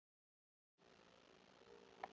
Hann var bara ekki nógu góður, víst.